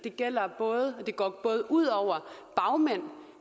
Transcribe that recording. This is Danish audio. og det går både ud over bagmændene